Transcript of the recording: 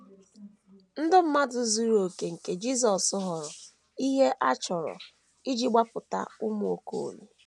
Ndụ mmadụ zuru okè nke Jisọs ghọrọ ihe a chọrọ iji gbapụta ụmụ Okolie